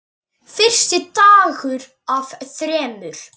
Fyrsti dagur af þremur.